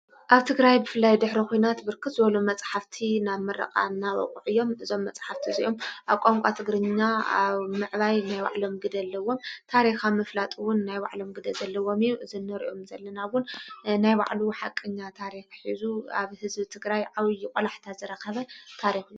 ኣብ ትግራይ ብፍላይ ድኅሪ ኹናት ብርክት ዘበሎ መጽሓፍቲ ናብ ምረቓ እናበቕዕ ዮም። እዞም መጽሕፍቲ እዙኦም ኣብ ቛንቋ ትግርኛ ኣብ ምዕባይ ናይ ባዕሎም ግደ አለዎም። ታሪኽ ምፍላጥውን ናይ ባዕሎም ግደ ዘለዎም ኢው ዘነርእኦም ዘለናውን ናይ ባዕሉ ሓቅኛ ታሪኽ ኂዙ ኣብ ህዝቢ ትግራይ ዓውዪ ቖላሕታ ዘረኸበ ታሪኽ እዩ።